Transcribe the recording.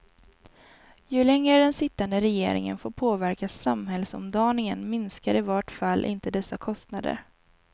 Ju längre den sittande regeringen får påverka samhällsomdaningen minskar i vart fall inte dessa kostnader.